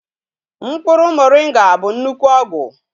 Mkpuru moringa bu nnukwu ogwu